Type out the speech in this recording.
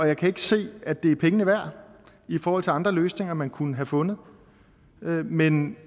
jeg kan ikke se at det er pengene værd i forhold til andre løsninger man kunne have fundet men